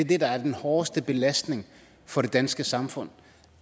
det der er den hårdeste belastning for det danske samfund